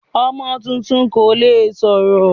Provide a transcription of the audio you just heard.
Ọmọ tuntun kò le sọ̀rọ̀.